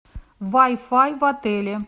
вай фай в отеле